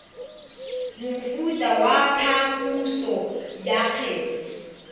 mofuta wa phaposo ya kgetse